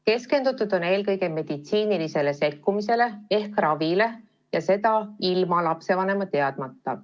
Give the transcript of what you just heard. Keskendutud on eelkõige meditsiinilisele sekkumisele ehk ravile, ja seda ilma lapsevanema teadmata.